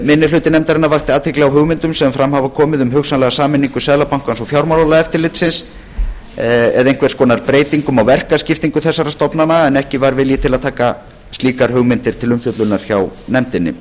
minni hluti nefndarinnar vakti athygli á hugmyndum sem fram hafa komið um hugsanlega sameiningu seðlabankans og fjármálaeftirlitsins eða einhvers konar breytingum á verkaskiptingu þessara stofnana en ekki var vilji til að taka slíkar hugmyndir til umfjöllunar hjá nefndinni